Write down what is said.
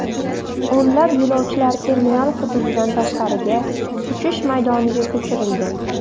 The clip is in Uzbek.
O‘nlab yo‘lovchilar terminal hududidan tashqariga, uchish maydoniga ko‘chirilgan.